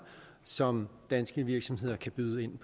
som danske virksomheder kan byde ind